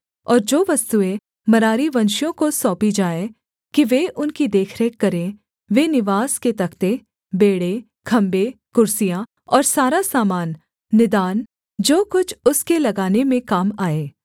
और जो वस्तुएँ मरारीवंशियों को सौंपी जाएँ कि वे उनकी देखरेख करें वे निवास के तख्ते बेंड़े खम्भे कुर्सियाँ और सारा सामान निदान जो कुछ उसके लगाने में काम आए